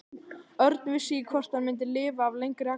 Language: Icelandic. Örn vissi ekki hvort hann myndi lifa af lengri akstur.